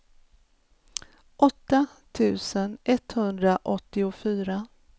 åtta tusen etthundraåttiofyra